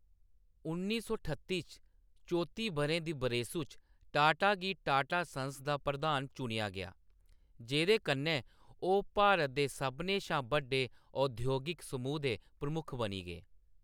उन्नी सौ ठत्ती च, चौती बʼरें दी बरेसू च, टाटा गी टाटा सन्स दा प्रधान चुनेआ गेआ, जेह्‌‌‌दे कन्नै ओह्‌‌ भारत दे सभनें शा बड्डे औद्योगिक समूह् दे प्रमुख बनी गे।